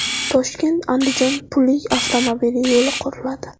ToshkentAndijon pullik avtomobil yo‘li quriladi.